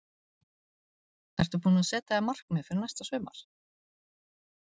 Ertu búinn að setja þér markmið fyrir næsta sumar?